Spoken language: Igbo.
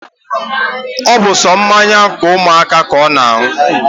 Obu so mmanya umuaka ka o na-aṅụ